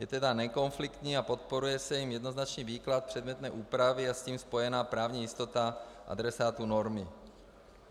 Je tedy nekonfliktní a podporuje se jím jednoznačný výklad předmětné úpravy a s tím spojená právní jistota adresátů normy.